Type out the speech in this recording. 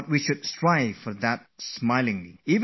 Why don't we try to do that in a lighthearted manner